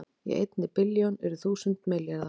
Í einni billjón eru þúsund milljarðar